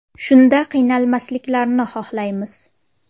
Shunda qiynalmasliklarini xohlaymiz.